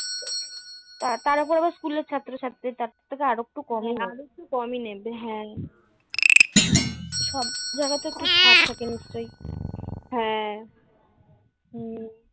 তার ওপর আবার স্কুলের ছাত্রছাত্রীদের তার থেকে আর একটু কম আরেকটু কমই নেবে হ্যাঁ সব জায়গাতে একটু ছাড় থাকে নিশ্চয়ই হ্যাঁ হুম